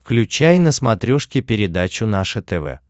включай на смотрешке передачу наше тв